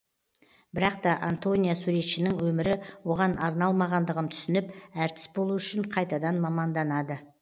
бірақ та антония суретшінің өмірі оған арналмағандығын түсініп әртіс болу үшін қайтадан маманданады